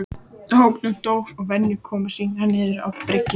Tók nú Dór að venja komur sínar niður á bryggju.